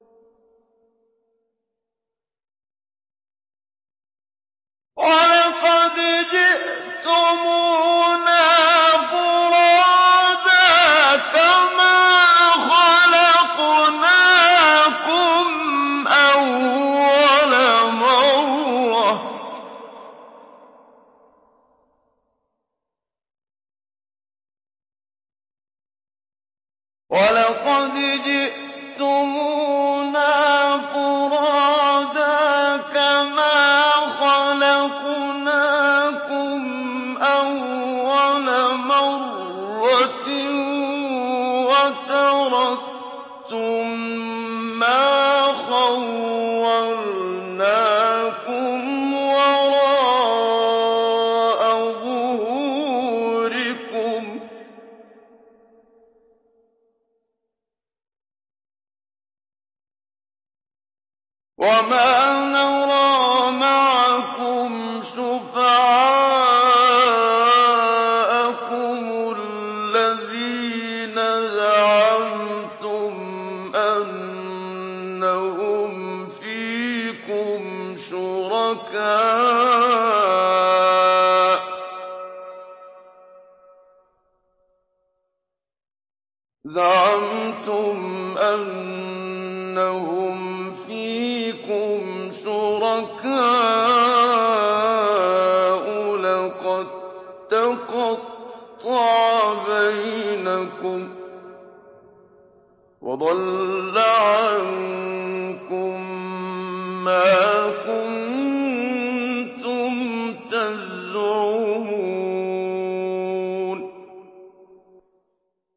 وَلَقَدْ جِئْتُمُونَا فُرَادَىٰ كَمَا خَلَقْنَاكُمْ أَوَّلَ مَرَّةٍ وَتَرَكْتُم مَّا خَوَّلْنَاكُمْ وَرَاءَ ظُهُورِكُمْ ۖ وَمَا نَرَىٰ مَعَكُمْ شُفَعَاءَكُمُ الَّذِينَ زَعَمْتُمْ أَنَّهُمْ فِيكُمْ شُرَكَاءُ ۚ لَقَد تَّقَطَّعَ بَيْنَكُمْ وَضَلَّ عَنكُم مَّا كُنتُمْ تَزْعُمُونَ